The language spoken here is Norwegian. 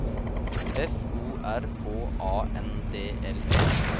F O R H A N D L E